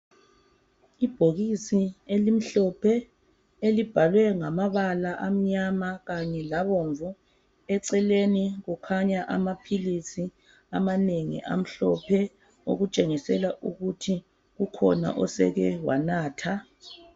Ibhokisi elimhlophe elibhalwe ngamabala amnyama kanye labomvu. Eceleni kukhanya amaphilisi amanengi amhlophe okutshengisela ukuthi ukhona oseke wanatha.